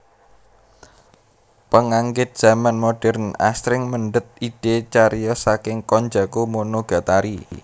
Penganggit zaman modern asring mendhet idé cariyos saking Konjaku Monogatari